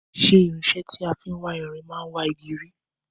Ṣé irinsé tí a fin wá irin man wá igi rí